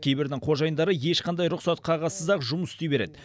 кейбірдің қожайындары ешқандай рұқсат қағазсыз ақ жұмыс істей береді